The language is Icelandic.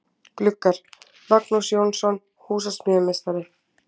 Gluggar: Magnús Jónsson, húsasmíðameistari.